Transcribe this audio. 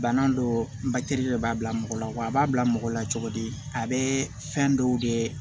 Bana dɔ de b'a bila mɔgɔ la wa a b'a bila mɔgɔ la cogo di a bɛ fɛn dɔw de